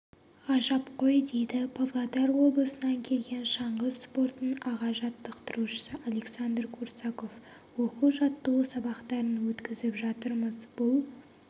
ғажап қойдейді павлодар облысынан келген шаңғы спортының аға жаттықтырушысы александр курсаков оқу-жаттығу сабақтарын өткізіп жатырмыз бұл